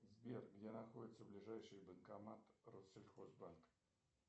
сбер где находится ближайший банкомат россельхозбанка